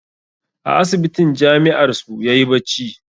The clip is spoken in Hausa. A asibitin jami'ar su yayi bacci